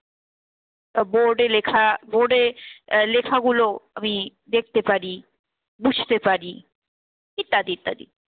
তা board এ লেখা board এ আহ লেখাগুলো আমি দেখতে পারি, বুঝতে পারি ইত্যাদি ইত্যাদি।